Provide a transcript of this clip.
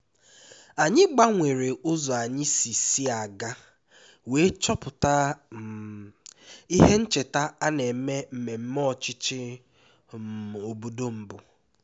anyị gbanwere ụzọ anyị si si aga wee chọpụta um ihe ncheta na-eme mmemme ọchịchị um obodo mbụ